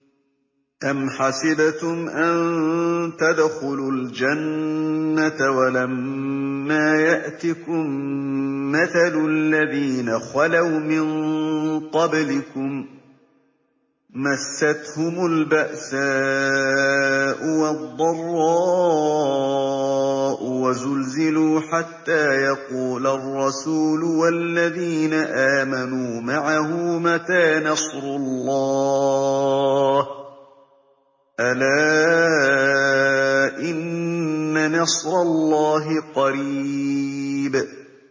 أَمْ حَسِبْتُمْ أَن تَدْخُلُوا الْجَنَّةَ وَلَمَّا يَأْتِكُم مَّثَلُ الَّذِينَ خَلَوْا مِن قَبْلِكُم ۖ مَّسَّتْهُمُ الْبَأْسَاءُ وَالضَّرَّاءُ وَزُلْزِلُوا حَتَّىٰ يَقُولَ الرَّسُولُ وَالَّذِينَ آمَنُوا مَعَهُ مَتَىٰ نَصْرُ اللَّهِ ۗ أَلَا إِنَّ نَصْرَ اللَّهِ قَرِيبٌ